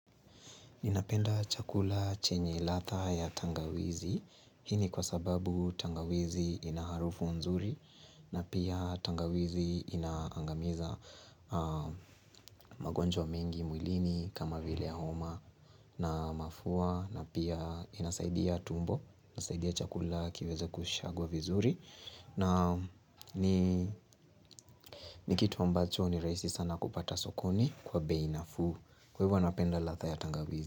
Ninapenda chakula chenye latha ya tangawizi. Hini kwa sababu tangawizi ina harufu nzuri. Na pia tangawizi inaangamiza magonjwa mengi mwilini kama vile ya homa na mafua. Na pia inasaidia tumbo, inasaidia chakula kiweze kushagwa vizuri. Na ni kitu ambacho ni rahisi sana kupata sokoni kwa beinafu. Kwa hivyo anapenda latha ya tangawizi.